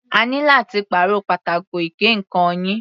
A ní láti pàrọ̀ pátákó ìgé ǹkan yìí.